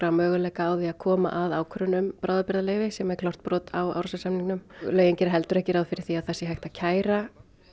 möguleika á því að koma að ákvörðun um bráðabirgðaleyfi sem er klárt brot á Árósasamningnum lögin gera heldur ekki ráð fyrir því að það sé hægt að kæra